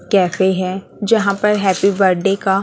cafe हैं जहां पे हैप्पी बर्थडे का--